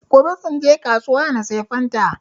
gobe zan je na kasuwa na sayi fanta